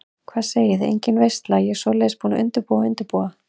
Hvað segiði, engin veisla, ég svoleiðis búin að undirbúa og undirbúa.